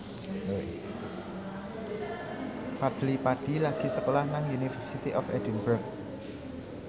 Fadly Padi lagi sekolah nang University of Edinburgh